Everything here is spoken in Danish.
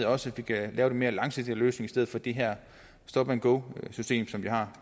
også kan lave en lidt mere langsigtet løsning i stedet for det her stop and go system som vi har